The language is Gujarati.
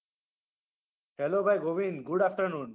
Hello ભાઈ ગોવિંદ good afternoon